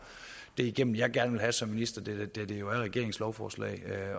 det igennem jeg gerne vil have som minister da det jo er regeringens lovforslag